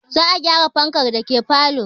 Za a gyara fankan dake falo